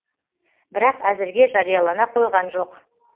бірақ әзірге жариялана қойған жоқ